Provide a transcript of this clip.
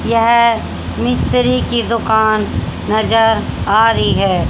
यह मिस्त्री की दुकान नजर आ रही है।